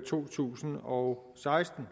to tusind og seksten